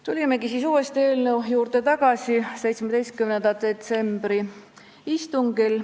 Tulime eelnõu juurde tagasi 17. detsembri istungil.